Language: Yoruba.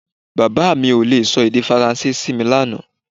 Bàbá mi ò le sọ èdè Faransé sí mi lánàá